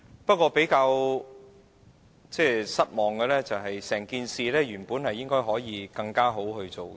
不過，我較為失望，因為整件事本來可以做得更好。